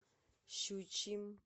щучьим